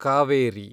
Kaveri